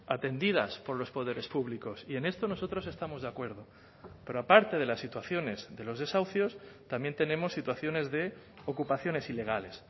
atendidas por los poderes públicos y en esto nosotros estamos de acuerdo pero aparte de las situaciones de los desahucios también tenemos situaciones de ocupaciones ilegales